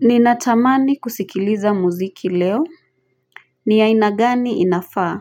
Ninatamani kusikiliza muziki leo. Ni ya aina gani inafaa.